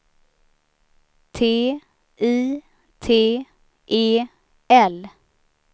T I T E L